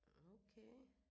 Okay